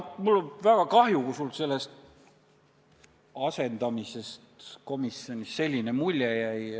Mul on väga kahju, kui sulle selle asendamise käigus komisjoni tööst selline mulje jäi.